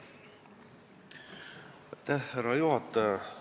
Austatud juhataja!